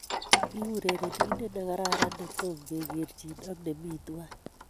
Ki urerenindet ne kararan ne tom kegerchin ak nemi tuan